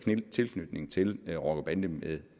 tilknytning til rocker bande